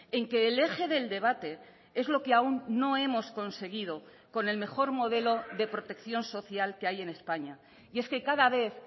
en que el eje del debate es lo que aún no hemos conseguido con el mejor modelo de protección social que hay en españa y es que cada vez